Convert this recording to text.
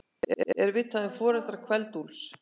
Er vitað um foreldra Kveld-Úlfs?